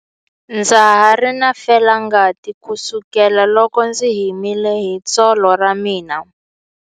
Ndza ha ri na felangati kusukela loko ndzi himile hi tsolo ra mina.